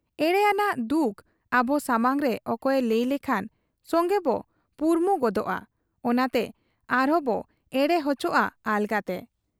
ᱮᱲᱮ ᱟᱱᱟᱜ ᱫᱩᱠ ᱟᱵᱚ ᱥᱟᱢᱟᱝᱨᱮ ᱚᱠᱚᱭᱮ ᱞᱟᱹᱭ ᱞᱮᱠᱷᱟᱱ ᱥᱚᱝᱜᱮᱵᱚ ᱯᱩᱨᱢᱩ ᱜᱚᱫᱚᱜ ᱟ ᱚᱱᱟᱛᱮ ᱟᱨᱵᱚ ᱮᱲᱮ ᱚᱪᱚᱜ ᱟ ᱟᱞᱜᱟᱛᱮ ᱾